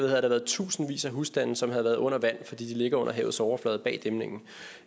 havde der været tusindvis af husstande som havde været under vand fordi de ligger under havets overflade bag dæmningen